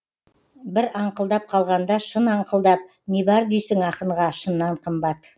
бір аңқылдап қалғанда шын аңқылдап не бар дейсің ақынға шыннан қымбат